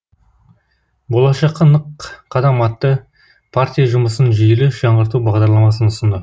болашаққа нық қадам атты партия жұмысын жүйелі жаңғырту бағдарламасын ұсынды